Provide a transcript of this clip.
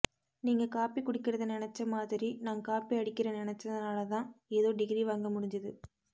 நீங்க காபி குடிக்கிறத நினைச்ச மாதிரி நான் காப்பி அடிக்கிற நினைச்சதாலதான் ஏதோ டிகிரி வாங்க முடுஞ்சுது